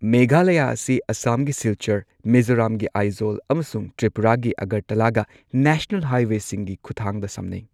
ꯃꯦꯘꯥꯂꯌꯥ ꯑꯁꯤ ꯑꯁꯥꯝꯒꯤ ꯁꯤꯜꯆꯔ, ꯃꯤꯖꯣꯔꯥꯝꯒꯤ ꯑꯥꯏꯖꯣꯜ ꯑꯃꯁꯨꯡ ꯇ꯭ꯔꯤꯄꯨꯔꯥꯒꯤ ꯑꯒꯔꯇꯂꯥꯒ ꯅꯦꯁꯅꯦꯜ ꯍꯥꯏꯋꯦꯁꯤꯡꯒꯤ ꯈꯨꯠꯊꯥꯡꯗ ꯁꯝꯅꯩ꯫